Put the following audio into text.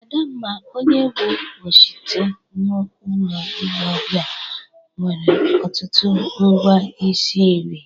Adamma, onye bụ oshiite n'ụlọ ile ọbịa, nwere ọtụtụ ngwa ishi nri.